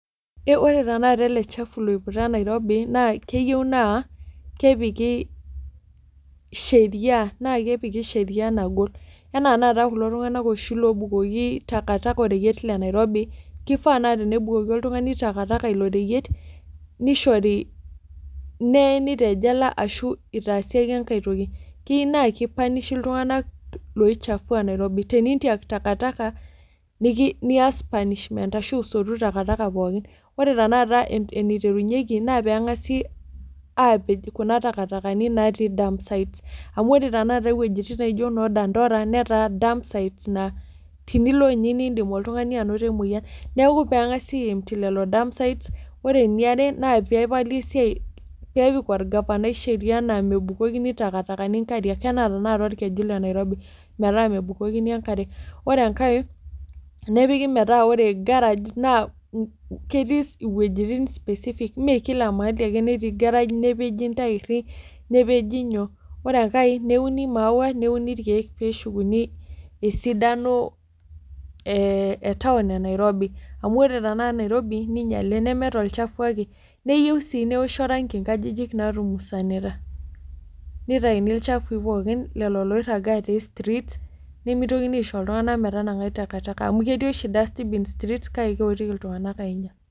Eeh ore tenakata ele chafu loiputa Nairobi naa keyou naa kepikii sheria, naakepiki  sheria nagol. Enaanata kulo tung'anak oshi loobukoki takataka oreyiet le Nairobi keifaa naa tenebukoki oltung'ani takataka ilo reyet neishori, neeni te jela ashuu itaasi ake engai toki. Keyiu naakeipanishi iltung'anak loichafua Nairobi tenintiak takataka niki-nias punishment ashu isotu takataka pookin. Ore tenakata eneiterunyeki naa peeng'asi aapej kuna takatakani naatii dump sites. Amu ore tenakata iwuejitin naijo noo dandora netaa dump sites naa tinilo ninye niindim oltung'ani anoto emoyan. Neaku peeng'asi aempti lelo dump sites ore niare naapeepali esiai, peepik olgafanai sheria naa mebukokini takatakani nkariak anaa tenakata olkeju le Nairobi metaa mebukokini enkare. Ore engai nepiki metaa ore  garage naa nn ketii iwuejitin specific mee kila mahali ake netii  garage nepeji ntairri nepeji nyoo. Ore engai neuni maua neuni ilkeek peeshukuni esidano ee etaun e Nairobi. Amu ore tenaa nairobi ninyale neme tolchafu ake. Neyou sii neoshi orangi nkajijik naatumusanita neitaini ilchafui pookin lelo loirragaa te streets nemeitokini aisho iltung'ana metanang'ai takataka amu ketii oshi dustbins streets kake keotiki iltung'anak ainyal.